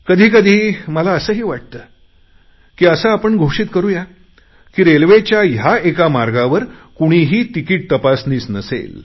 कधी कधी मला असेही वाटते की असे आपण घोषित करु या की रेल्वेच्या ह्या एका मार्गावर कुणीही तिकीट तपासनीस नसेल